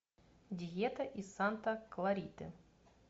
диета из санта клариты